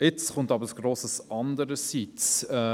Doch jetzt folgt ein grosses Andererseits: